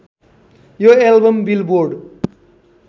यो album billboard